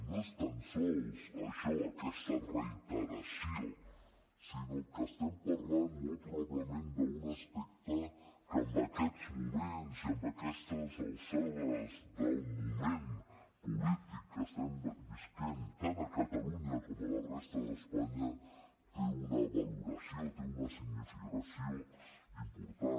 no és tan sols això aquesta reiteració sinó que estem parlant molt probablement d’un aspecte que en aquests moments i a aquestes alçades del moment polític que estem vivint tant a catalunya com a la resta d’espanya té una valoració té una significació important